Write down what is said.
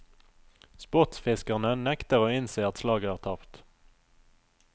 Sportsfiskerne nekter å innse at slaget er tapt.